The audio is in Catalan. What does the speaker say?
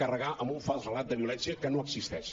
gar amb un fals relat de violència que no existeix